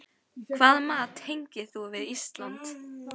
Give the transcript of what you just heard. Hvaða mat tengir þú við Ísland?